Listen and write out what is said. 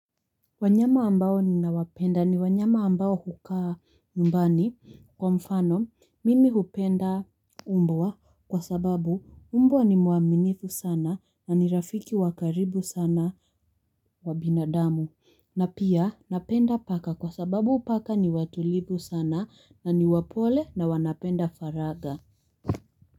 Wanyama ambao ninawapenda ni wanyama ambao hukaa nyumbani kwa mfano mimi hupenda mbwa kwa sababu mbwa ni mwaminifu sana na ni rafiki wa karibu sana wa binadamu na pia napenda paka kwa sababu paka ni watulivu sana na ni wapole na wanapenda faraga.